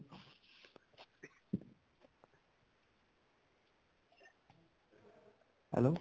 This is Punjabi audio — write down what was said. hello